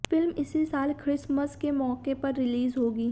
film इसी साल Christmas के मौके पर रिलीज़ होगी